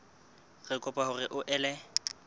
re kopa hore o ele